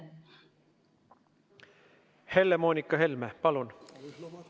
Helle-Moonika Helme, palun!